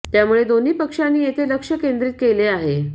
त्यामुळे दोन्ही पक्षांनी येथे लक्ष्य केंद्रित केले आहे